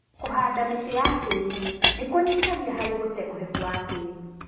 Kũhanda mĩtĩ ya kĩruru nĩkunyihagia harĩ gũte kwa ũhehu wa tĩri.